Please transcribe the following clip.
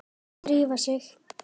Drífa sig